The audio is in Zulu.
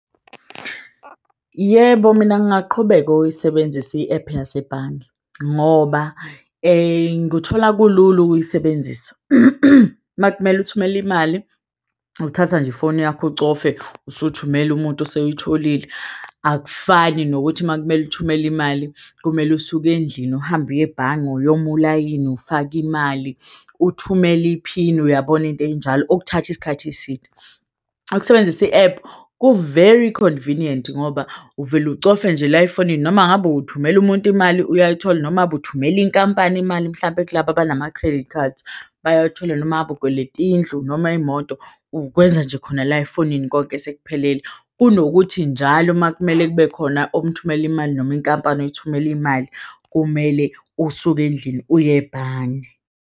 Yebo, mina ngingaqhubeka ukuyisebenzisa i-ephu yasebhange ngoba nguthola kulula ukuyisebenzisa. Uma kumele uthumele imali uthatha nje ifoni yakho, ucofe usuthumela umuntu useyitholile. Akufani nokuthi uma kumele uthumele imali kumele usuke endlini, uhambe uye ebhange uyoma ulayini ufake imali, uthumele iphini. Uyabona into eyinjalo okuthatha isikhathi eside ukusebenzisa i-ephu ku-very convenient ngoba uvele ucofe nje la efonini noma ngabe ukuthumela umuntu imali uyayithola, noma ukuthumela inkampani imali mhlampe kulaba abanama-credit cards bayayithola noma ngabe ukweleta indlu noma imoto ukwenza nje khona la efonini konke sekuphelele. Kunokuthi njalo, uma kumele kube khona omthumelela imali noma inkampani oyithumela imali, kumele usuke endlini uyebhange.